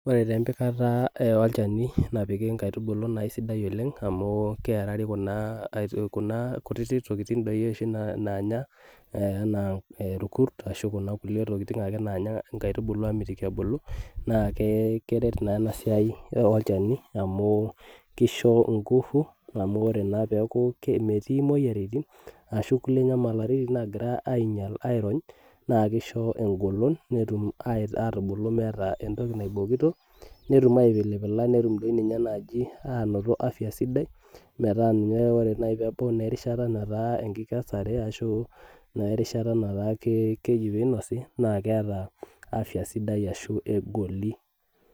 Ore taa empikata olchani napiki inkaitubulu naa aisidai oleng, amu kerari kuna kutiti tokiting doi oshi naanya enaa irkurs, ashu kuna kulie tokiting ake naanya inkaitubulu amitiki ebulu, naa keret naa enasiai olchani amu kisho ingufu, amu ore naa peeku metii moyiaritin, ashu kulie nyamalaritin nagira ainyal airony, na kisho egolon netum atubulu meeta entoki naibokito, netum aipilipila netum dinye naji anoto afya sidai, metaa ninye ore nai pebau naa erishata netaa enkesare ashu naa erishata netaa keji pinosi, na keeta afya ashu egoli.